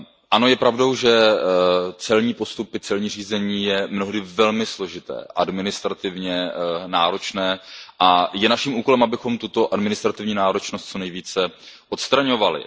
Ano, je pravdou, že celní řízení je mnohdy velmi složité, administrativně náročné a je naším úkolem, abychom tuto administrativní náročnost co nejvíce odstraňovali.